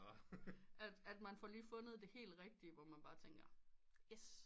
At man får lige fundet det helt rigtige hvor man bare tænker yes